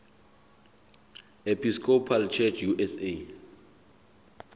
episcopal church usa